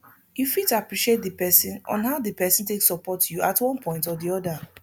you fit appreciate di person on how di person take support you at one point or di oda